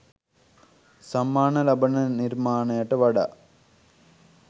සම්මාන ලබන නිර්මාණයට වඩා